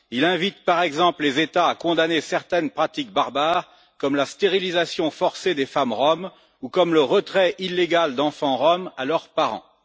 Il invite, par exemple, les États à condamner certaines pratiques barbares, comme la stérilisation forcée des femmes roms ou le retrait illégal d'enfants roms à leurs parents.